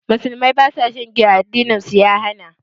Musulmai ba su shan giya, addinin su ya hana.